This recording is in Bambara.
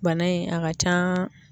Bana in a ka can.